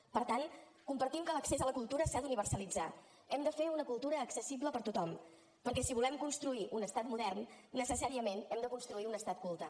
per tant compartim que l’accés a la cultura s’ha d’universalitzar hem de fer una cultura accessible per a tothom perquè si volem construir un estat modern necessàriament hem de construir un estat culte